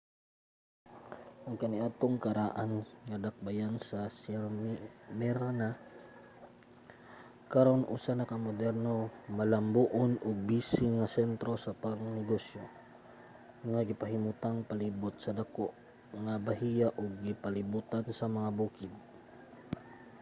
ang kaniadtong karaan nga dakbayan sa smyrna karon usa na ka moderno malambuon ug busy nga sentro sa pangnegosyo nga gipahimutang palibot sa dako nga bahiya ug gipalibotan sa mga bukid